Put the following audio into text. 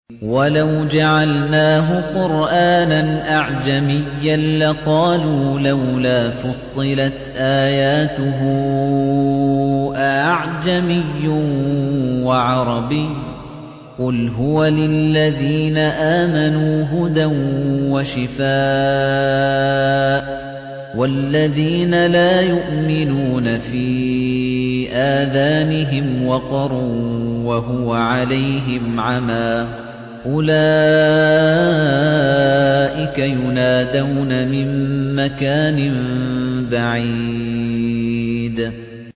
وَلَوْ جَعَلْنَاهُ قُرْآنًا أَعْجَمِيًّا لَّقَالُوا لَوْلَا فُصِّلَتْ آيَاتُهُ ۖ أَأَعْجَمِيٌّ وَعَرَبِيٌّ ۗ قُلْ هُوَ لِلَّذِينَ آمَنُوا هُدًى وَشِفَاءٌ ۖ وَالَّذِينَ لَا يُؤْمِنُونَ فِي آذَانِهِمْ وَقْرٌ وَهُوَ عَلَيْهِمْ عَمًى ۚ أُولَٰئِكَ يُنَادَوْنَ مِن مَّكَانٍ بَعِيدٍ